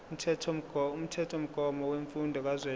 umthethomgomo wemfundo kazwelonke